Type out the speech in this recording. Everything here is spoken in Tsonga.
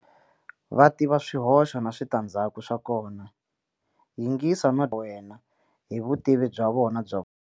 Va tiva swihoxo na switandzhaku swa kona. Yingisa no dyondza va wena hi vutivi bya vona bya.